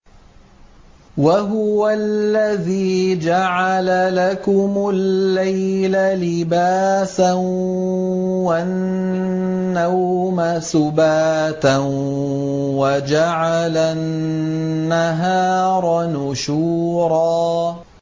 وَهُوَ الَّذِي جَعَلَ لَكُمُ اللَّيْلَ لِبَاسًا وَالنَّوْمَ سُبَاتًا وَجَعَلَ النَّهَارَ نُشُورًا